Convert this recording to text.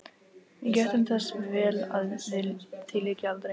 Við gættum þess vel að því lyki aldrei.